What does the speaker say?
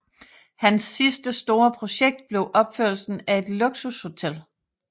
Hans sidste store projekt blev opførelsen af et luksushotel